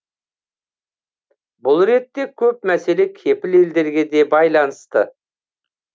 бұл ретте көп мәселе кепіл елдерге де байланысты